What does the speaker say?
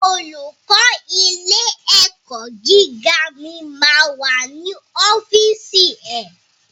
Olùkó ilé ẹ̀kọ́ gíga mi ma wà ní ọ́fìsì ẹ̀.